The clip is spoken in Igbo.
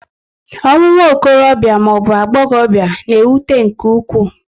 Ọnwụ nwokorobia maọbu agbọghobia na-ewute nke ụkwụ